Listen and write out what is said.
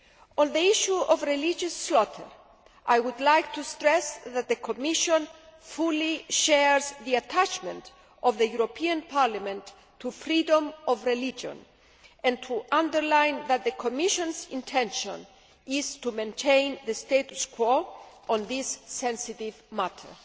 On the issue of religious slaughter, I would like to stress that the Commission fully shares the attachment of the European Parliament to freedom of religion and to underline that the Commission's intention is to maintain the status quo on this sensitive matter.